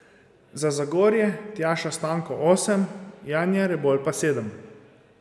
Za Zagorje Tjaša Stanko osem, Janja Rebolj pa sedem.